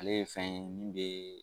Ale ye fɛn ye min bɛ